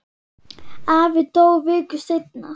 Afi dó viku seinna.